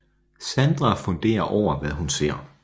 Sandra fundere over hvad hun ser